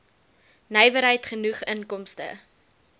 nywerheid genoeg inkomste